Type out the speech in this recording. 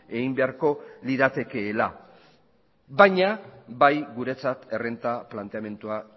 egin beharko liratekeela baina bai guretzat errenta planteamendua